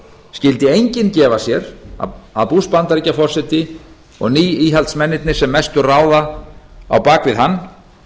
skyldi enginn gefa sér að bush bandaríkjaforseti og ný íhaldsmennirnir sem mestu ráða á bak við hann